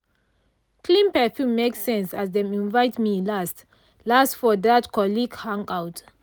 clean perfume make sense as dem invite me last-last for that colleague hangout.